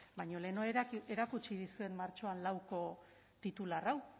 baina lehenago ere erakutsi dizuet martxoaren lauko titular hau